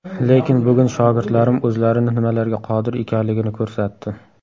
Lekin bugun shogirdlarim o‘zlarini nimalarga qodir ekanligini ko‘rsatdi.